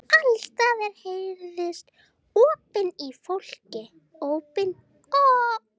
Alls staðar heyrðust ópin í fólki.